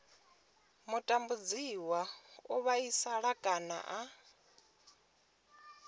mutambudziwa o vhaisala kana a